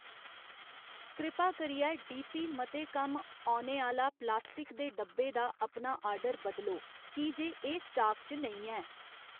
कृपा करियै D P मते कम्म औने आह्ला प्लास्टिक दे डब्बा दा अपना आर्डर बदलो की जे एह् स्टाक च नेईं ऐ